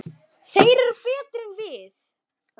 Þeir eru betri en við.